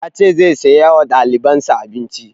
Ya ce zai saya wa ɗaliban sa abinci